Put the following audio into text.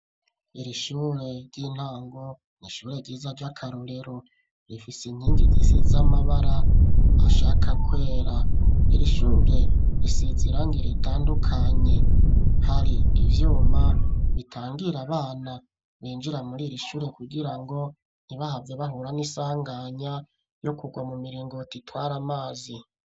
Iri shure ry'intango n'ishure ryiza ry'akarorero rifise inkingi zisize z'amabara ashaka kwera iri shure risizirangire ritandukanye hari ibyuma bitangira abana benjira muri iri shure kugira ngo ntibahabze bahura n isanganya yo kugwa mu miringo ritwara amazi.